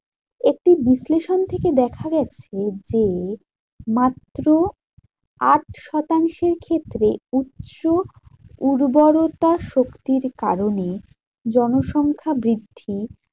একটি বিশ্লেষণ থেকে দেখা গেছে যে, মাত্র আট শতাংশ ক্ষেত্রে উচ্চ উর্বরতা শক্তির কারণে জনসংখ্যা বৃদ্ধি